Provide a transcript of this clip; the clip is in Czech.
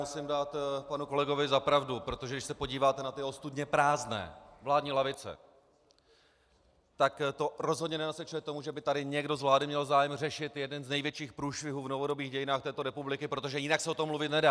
Musím dát panu kolegovi za pravdu, protože když se podíváte na ty ostudně prázdné vládní lavice, tak to rozhodně nenasvědčuje tomu, že by tady někdo z vlády měl zájem řešit jeden z největších průšvihů v novodobých dějinách této republiky, protože jinak se o tom mluvit nedá.